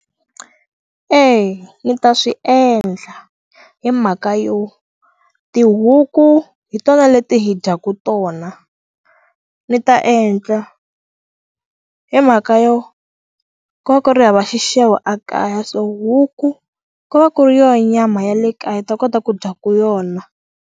Eya ndzi ta swi endla hi mhaka yo tihuku hi tona leti hi dyaku tona ndzi ta endla hi mhaka yo ku va ku ri hava xixevo a kaya so huku ku va ku ri yo nyama ya le kaya hi ta kota ku dyaku yona.